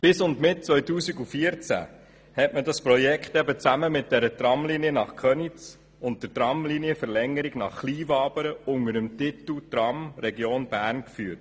Bis und mit 2014 wurde das Projekt zusammen mit der Tramlinie nach Köniz und der Tramlinienverlängerung nach Kleinwabern unter dem Titel Tram Region Bern geführt.